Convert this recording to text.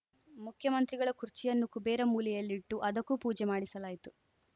ಮುಖ್ಯಮಂತ್ರಿಗಳ ಕುರ್ಚಿಯನ್ನು ಕುಬೇರ ಮೂಲೆಯಲ್ಲಿಟ್ಟು ಅದಕ್ಕೂ ಪೂಜೆ ಮಾಡಿಸಲಾಯಿತು